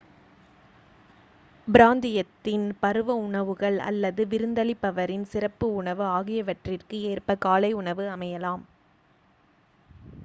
பிராந்தியத்தின் பருவ உணவுகள் அல்லது விருந்தளிப்பவரின் சிறப்பு உணவு ஆகியவற்றிற்கு ஏற்ப காலை உணவு அமையலாம்